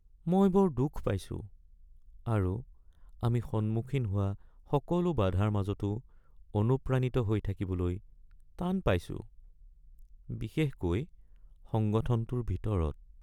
মই বৰ দুখ পাইছো আৰু আমি সন্মুখীন হোৱা সকলো বাধাৰ মাজতো অনুপ্ৰাণিত হৈ থাকিবলৈ টান পাইছোঁ, বিশেষকৈ সংগঠনটোৰ ভিতৰত।।